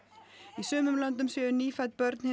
í sumum löndum séu nýfædd börn hins